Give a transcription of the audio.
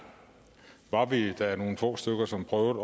var vi da nogle få stykker som prøvede